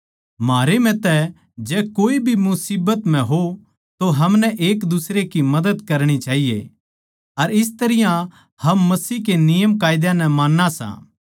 म्हारे म्ह तै जै कोए भी मुसीबत म्ह हो तो हमनै एक दुसरे की मदद करणी चाहिए अर इस तरियां हम मसीह के नियमां नै मान्ना सां